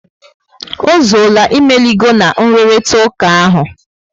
Ozuola, imeligo na nruritauka ahụ